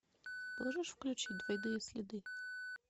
можешь включить двойные следы